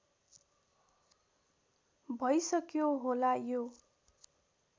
भै सक्यो होला यो